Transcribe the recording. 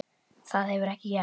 Það hefur ekki gerst.